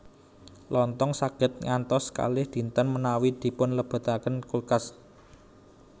Lontong saged ngantos kalih dinten menawi dipunlebetaken ing kulkas